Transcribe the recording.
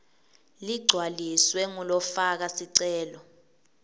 ligcwaliswe ngulofaka sicelo